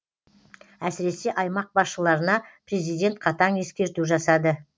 әсіресе аймақ басшыларына президент қатаң ескерту жасады